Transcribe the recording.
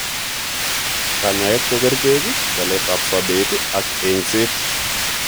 Kanyaet koo kercheek, waleet ab sobeet ak eng'seet